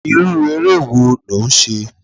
Irú eré wo lò ń ṣe?